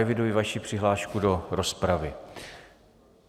Eviduji vaši přihlášku do rozpravy.